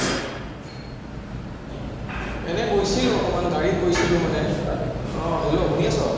এনেই গৈছিলো অকনমান গাড়ীত গৈছিলো মানে, আহ hello শুনি আছা